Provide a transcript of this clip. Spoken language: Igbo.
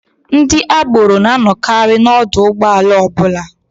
Ndị agboro na-anọkarị n'ọdụ ụgbọala ọbụla.